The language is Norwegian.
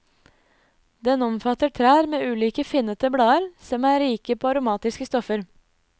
Den omfatter trær med ulike finnete blader som er rike på aromatiske stoffer.